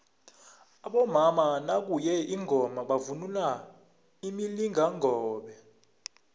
abomama nakuye ingoma bavunula imilingakobe